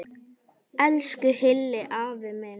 Elsku Hilli afi minn.